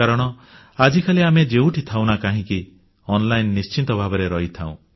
କାରଣ ଆଜିକାଲି ଆମେ ଯେଉଁଠି ଥାଉ ନା କାହିଁକି ଅନଲାଇନ ନିଶ୍ଚିତ ଭାବରେ ରହିଥାଉ